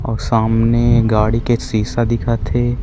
और गाड़ी के शीशा दिखत हे।